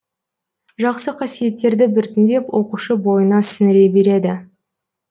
жақсы қасиеттерді біртіндеп оқушы бойына сіңіре береді